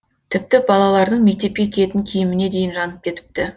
тіпті балалардың мектепке киетін киіміне дейін жанып кетіпті